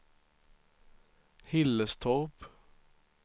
Hillerstorp